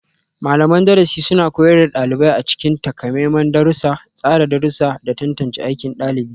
Malaman darasi suna koyar da ɗalibai a cikin takamaiman darussa, tsara darussa, da tantance aikin ɗalibi.